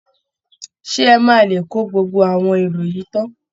Ṣé ẹ máa lè kó gbogbo àwọn èrò yìí tán?